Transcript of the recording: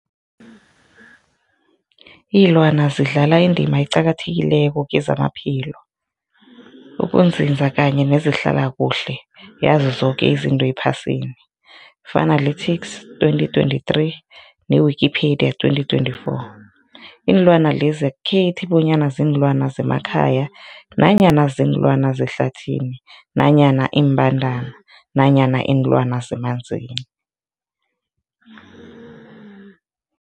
Ilwana zidlala indima eqakathekileko kezamaphilo, ukunzinza kanye nezehlala kuhle yazo zoke izinto ephasini, Fuanalytics 2023, ne-Wikipedia 2024. Iinlwana lezi akukhethi bonyana ziinlwana zemakhaya nanyana kuziinlwana zehlathini nanyana iimbandana nanyana iinlwana zemanzini.